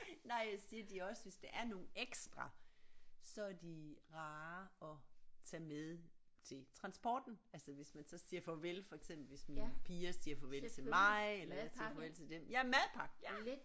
Nej jeg siger de er også hvis der er nogle ekstra så er de rare at tage med til transporten altså hvis man så siger farvel for eksempel hvis mine piger siger farvel til mig eller jeg siger farvel til dem ja madpakke ja